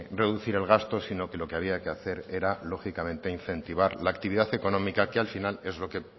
reducir el gasto sino que lo que había que hacer era lógicamente incentivar la actividad económica que al final es lo que